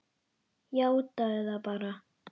Játaðu það bara!